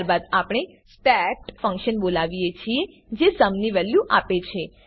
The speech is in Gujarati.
ત્યારબાદ આપણે સ્ટેટ ફંક્શન બોલાવીએ છીએ જે સુમ ની વેલ્યુ આપે છે